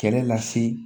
Kɛlɛ lase